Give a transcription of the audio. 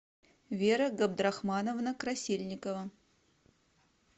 вера габдрахмановна красильникова